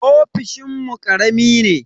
Ofishinmu karami ne.